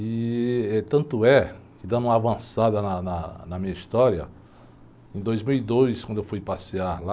E tanto é que, dando uma avançada na, na, na minha história, em em dois mil e dois, quando eu fui passear lá,